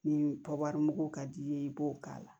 Ni kɔwari mugu ka d'i ye i b'o k'a la